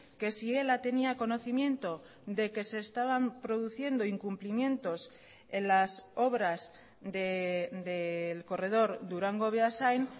que si ela tenía conocimiento de que se estaban produciendo incumplimientos en las obras del corredor durango beasain